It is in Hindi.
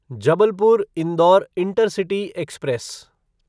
Jabalpur Indore intercity express